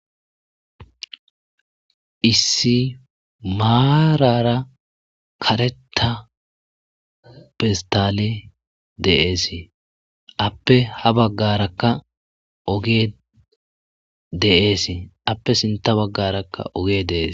issi maarara kareta pistale deeesi appe ha baggarakka ogee deeesi appe sinta baggarakka ogee deeesi